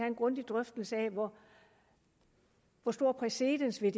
en grundig drøftelse af hvor stor præcedens det